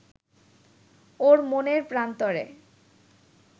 ওর মনের প্রান্তরে